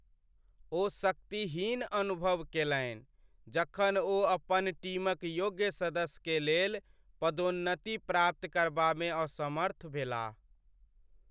ओ शक्तिहीन अनुभव केलनि जखन ओ अपन टीम क योग्य सदस्य के लेल पदोन्नति प्राप्त करबामे असमर्थ भेलाह ।